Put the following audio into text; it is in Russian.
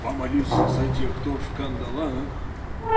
помолюсь за тех кто в кандалах